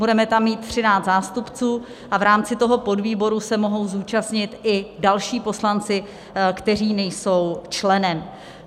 Budeme tam mít 13 zástupců a v rámci toho podvýboru se mohou zúčastnit i další poslanci, kteří nejsou členem.